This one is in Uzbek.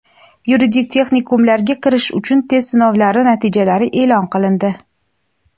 Yuridik texnikumlarga kirish uchun test sinovlari natijalari eʼlon qilindi.